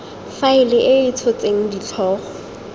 faela e e tshotseng ditlhogo